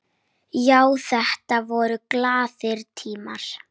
Já, þetta voru glaðir tímar.